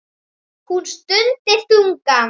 Hún stundi þungan.